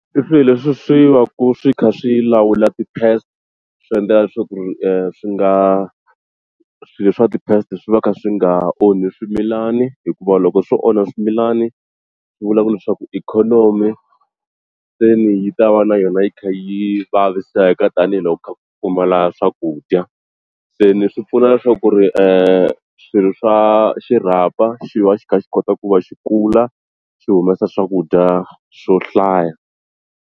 I swilo leswi swi va ku swi kha swi lawula ti-pest swi endlela leswaku ri swi nga swilo swa ti-pest swi va swi kha swi nga onhi swimilani hikuva loko swo onha swimilani swi vula ku leswaku ikhonomi se ni yi ta va na yona yi kha yi vaviseka tanihiloko ku kha ku pfumala swakudya se ni swi pfuna na swa ku ri swilo swa xirhapa xi va xi kha xi kota ku va xi kula xi humesa swakudya swo hlaya.